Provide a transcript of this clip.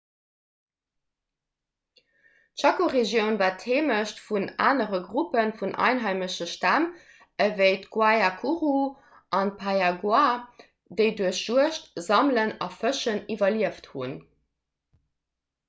d'chaco-regioun war d'heemecht vun anere gruppe vun einheimesche stämm ewéi d'guaycurú an d'payaguá déi duerch juegd sammelen a fëschen iwwerlieft hunn